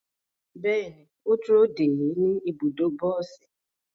Bẹẹni, o duro de e ni ibudo bosi